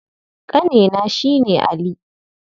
Ƙanena shi ne Ali.